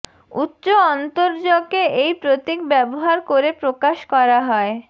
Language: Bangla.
উচ্চ অন্তরজকে এই প্রতীক ব্যবহার করে প্রকাশ করা হয়